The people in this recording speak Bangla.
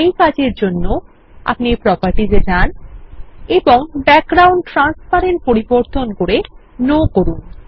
এই কাজের জন্য আপনিproperties এ যানএবং ব্যাকগ্রাউন্ড ট্রান্সপারেন্ট পরিবর্তন করে নো করুন